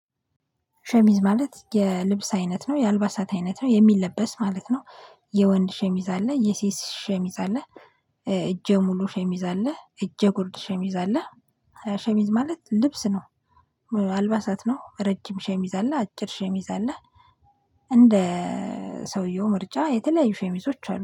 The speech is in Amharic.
ሸሚዝ ማለት የልብስ አይነት ነው የአልባሳት አይነት ነው የሚለበስ ማለት ነው የወንድ ሸሚዝ አለ የሴት ሸሚዝ አለ። እጄ ሙሉ ሸሚዝ አለ እጄ ጉርድ ሸሚዝ አለ። ሸሚዝ ማለት ልብስ ነው። አልባሳት ነው ረጅም ሸሚዝ አለ አጭር ሸሚዝ አለ። እንደ ሰውየው ምርጫ የተለያዩ ሸሚዞች አሉ